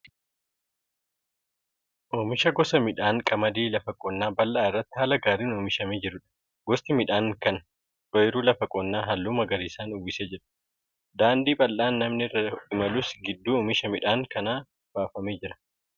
Oomisha gosa midhaan qamadii lafa qonnaa bal'aa irratti haala gaariin oomishamee jirudha. Gosti midhaan kan ooyiruu lafa qonnaa halluu magariisaan uwwisee jira. Daandiin bal'aan namni irra imalus gidduu oomisha midhaan kanaan baafamee jira.